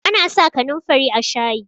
ana sa kanin fari a shayi